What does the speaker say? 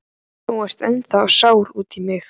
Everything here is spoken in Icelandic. Þú ert ennþá sár út í mig.